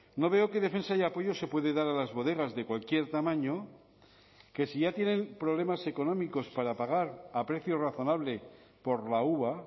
no veo qué defensa y apoyo se puede dar a las bodegas de cualquier tamaño que si ya tienen problemas económicos para pagar a precio razonable por la uva